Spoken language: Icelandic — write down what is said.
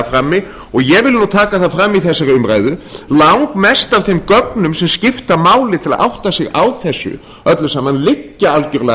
frammi og ég vil taka það fram í þessari umræðu langmest af þeim gögnum sem skipta máli til að átta sig á þessu öllu saman liggja algerlega